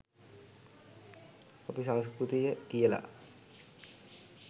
අපි සංස්කෘතිය කියලා